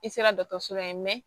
I sera dɔgɔtɔrɔso la yan